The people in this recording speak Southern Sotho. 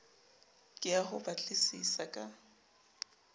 ke ya ho batlisisa ka